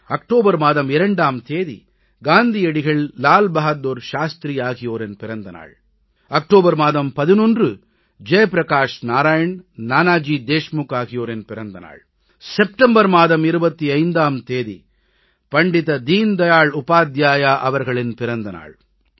October மாதம் 2ஆம் தேதி காந்தியடிகள் லால் பகதூர் சாஸ்திரி ஆகியோரின் பிறந்த நாள் அக்டோபர் மாதம் 11 ஜெயப்பிரகாஷ் நாராயண் நானாஜி தேஷ்முக் ஆகியோரின் பிறந்த நாள் செப்டம்பர் மாதம் 25ஆம் தேதி பண்டித தீன் தயாள் உபாத்யாயா அவர்களின் பிறந்த நாள்